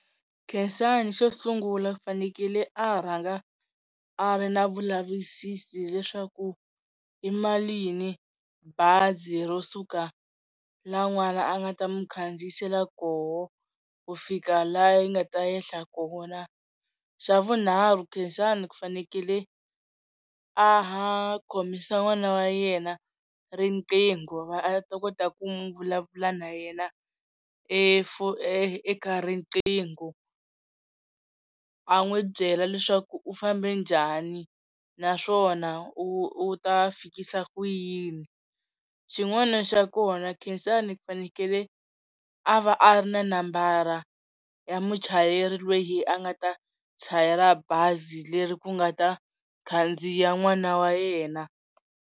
Khensani xo sungula u fanekele a rhanga a ri na vulavisisi leswaku i malini bazi ro suka la n'wana a nga ta mi khandziyisela koho ku fika laha yi nga ta ehla kona xa vunharhu Khensani ku fanekele a khomisa n'wana wa yena riqingho va a ta kota ku mi vulavula na yena eka riqingho a n'wi byela leswaku u fambe njhani naswona u ta fikisa ku yini xin'wana xa kona Khensani ku fanekele a va a ri na nambara ya muchayeri loyi a nga ta chayela bazi leri ku nga ta khandziya n'wana wa yena.